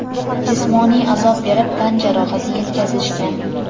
jismoniy azob berib tan jarohati yetkazishgan.